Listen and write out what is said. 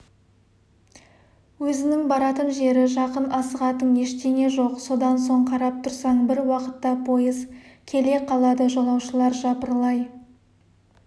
өзінің баратын жері жақын асығатын ештеңе жоқ содан соң қарап тұрсаң бір уақытта пойыз келе қалады жолаушылар жапырлай